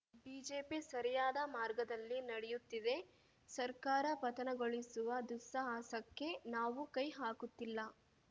BJP ಸರಿಯಾದ ಮಾರ್ಗದಲ್ಲಿ ನಡೆಯುತ್ತಿದೆ ಸರ್ಕಾರ ಪತನಗೊಳಿಸುವ ದುಸ್ಸಾಹಸಕ್ಕೆ ನಾವು ಕೈ ಹಾಕುತ್ತಿಲ್ಲ